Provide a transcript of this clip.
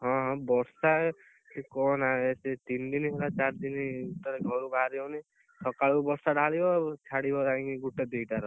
ହଁ ବର୍ଷା କହନା ତିନି ଦିନ ହେଲା ଚାରି ଦିନ ହେଲା ଘରୁ ବାହାରି ହଉନି ସକାଳୁ ବର୍ଷା ଢାଳିବ ଛାଡ଼ିବ ଯାଇ ଗୋଟେ ଦି ଟାର